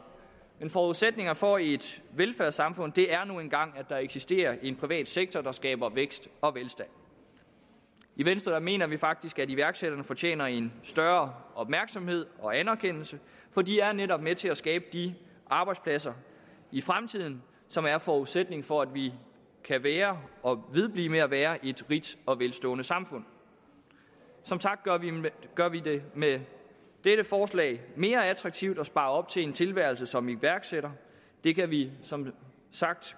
en forudsætning for et velfærdssamfund er nu engang at der eksisterer en privat sektor der skaber vækst og velstand i venstre mener vi faktisk at iværksætterne fortjener en større opmærksomhed og anerkendelse for de er netop med til at skabe de arbejdspladser i fremtiden som er forudsætningen for at vi kan være og vedblive med at være et rigt og velstående samfund som sagt gør vi det med dette forslag mere attraktivt at spare op til en tilværelse som iværksætter det kan vi som sagt